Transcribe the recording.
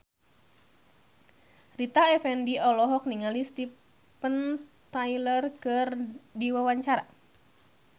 Rita Effendy olohok ningali Steven Tyler keur diwawancara